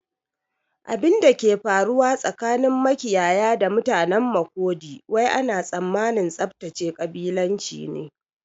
Abinda ke faruwa tsakanin makiyaya da mutanen Makurdi wai ana tsammanin tsaftace kabilanci ne